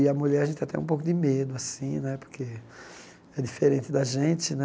E a mulher a gente tem até um pouco de medo assim né, porque é diferente da gente.